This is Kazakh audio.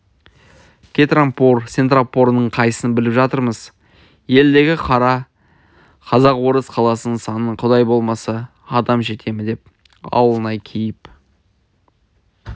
кетрампор-сетрампорыңның қайсысын біліп жатырмыз елдегі қара қазақ орыс қаласының санына құдай болмаса адам жете ме деп ауылнай кейіп